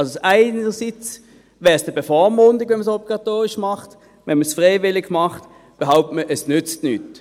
Es wäre eine Bevormundung, wenn man es obligatorisch machen würde, und wenn man es freiwillig macht, wird behauptet, es nütze nichts.